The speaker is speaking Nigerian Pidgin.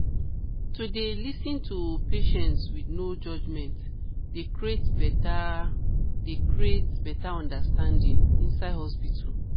to dey lis ten to patients with no judgement dey create better dey create better understanding inside hospitals